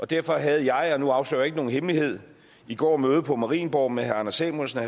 derfor havde jeg og nu afslører jeg ikke nogen hemmelighed i går møde på marienborg med herre anders samuelsen og